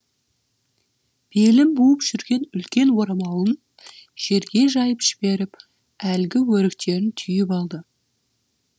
белін буып жүрген үлкен орамалын жерге жайып жіберіп әлгі өріктерін түйіп алды